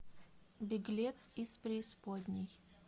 беглец из преисподней